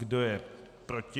Kdo je proti?